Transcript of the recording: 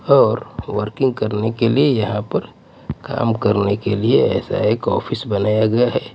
और वर्किंग करने के लिए यहां पर काम करने के लिए ऐसा एक ऑफिस बनाया गया है.